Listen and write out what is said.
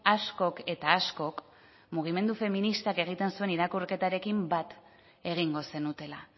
askok eta askok mugimendu feministak egiten zuen irakurketarekin bat egingo zenutela